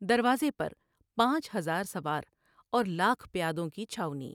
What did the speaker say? دروازے پر پانچ ہزار سوار اور لاکھ پیادوں کی چھاؤنی ۔